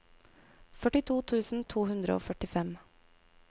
førtito tusen to hundre og førtifem